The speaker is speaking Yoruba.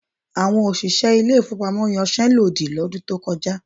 Àwọn òṣìṣẹ́ ilé-ìfowópamọ́ yanṣẹ́ lódì lọ́dún tó kọjá